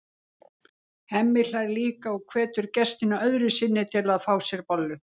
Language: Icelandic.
Hemmi hlær líka og hvetur gestina öðru sinni til að fá sér bollu.